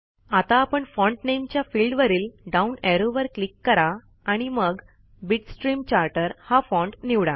आता font name च्या फील्डवरील डाऊन ऍरोवर क्लिक करा आणि मग बिटस्ट्रीम चार्टर हा फाँट निवडा